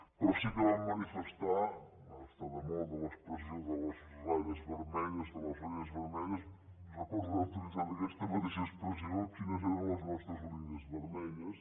però sí que vam manifestar està de moda l’expressió de les ratlles vermelles de les línies vermelles recordo haver utilitzat aquesta mateixa expressió qui·nes eren les nostres línies vermelles